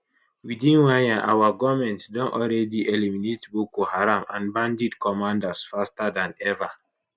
within one year our goment don already eliminate boko haram and bandit commanders faster dan ever